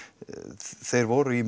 þeir voru í